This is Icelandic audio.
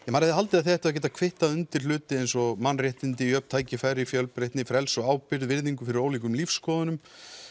maður hefði haldið að þið ættuð að geta kvittað undir hluti eins og mannréttindi jöfn tækifæri fjölbreytni frelsi og ábyrgð virðingu fyrir ólíkum lífsskoðunum